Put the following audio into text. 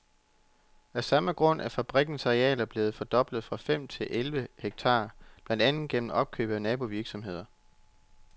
Af samme grund er fabrikkens arealer blevet fordoblet fra fem til elleve hektarer, blandt andet gennem opkøb af nabovirksomheder.